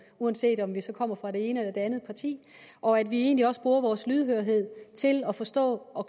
uanset om vi så kommer fra det ene eller det andet parti og at vi egentlig også bruger vores lydhørhed til at forstå og